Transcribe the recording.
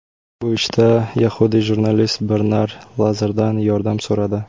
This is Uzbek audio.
Bu ishda yahudiy jurnalist Bernar Lazardan yordam so‘radi.